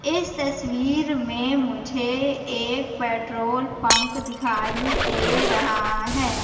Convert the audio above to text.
इस तस्वीर मे मुझे एक पेट्रोल पंप दिखाई दे रहा है।